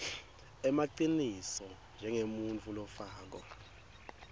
emaciniso njengemuntfu lofako